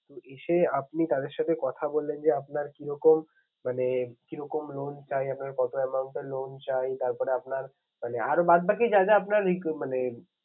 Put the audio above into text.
তো এসে আপনি তাদের সাথে কথা বললেন যে আপনার কিরকম মানে কিরকম loan চাই? আপনার কত amount এর loan চাই? তারপরে আপনার মানে আর বাদবাকি যা যা আপনার মানে